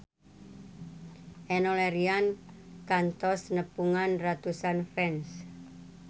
Enno Lerian kantos nepungan ratusan fans